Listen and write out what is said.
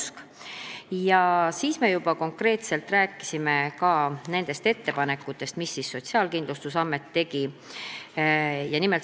Sel korral me rääkisime juba konkreetselt ka nendest ettepanekutest, mida tegi Sotsiaalkindlustusamet.